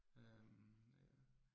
Øh